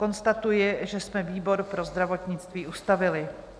Konstatuji, že jsme výbor pro zdravotnictví ustavili.